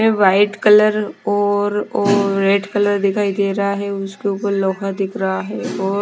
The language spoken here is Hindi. वाइट कलर और रेड कलर दिखाई दे रहा है उसके ऊपर लोखा दिख रहा है और।